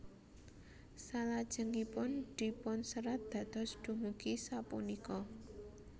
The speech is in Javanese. Salajengipun dipunserat dados dumugi sapunika